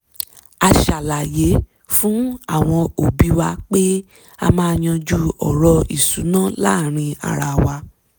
a ṣàlàyé fún àwọn òbí wa pé a maa yanju ọ̀rọ̀ ìṣúná láàárín ara wa